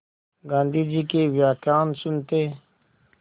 गाँधी जी के व्याख्यान सुनते